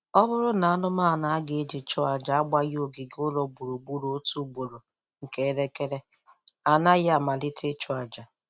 Ọ bụrụ na anụmanụ a ga-eji chụọ aja agbaghị ogige ụlọ gburugburu otu ugboro nke elekere, a naghị amalite ịchụ aja